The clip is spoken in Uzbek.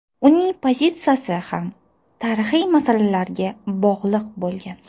Uning pozitsiyasi ham tarixiy masalalarga bog‘liq bo‘lgan.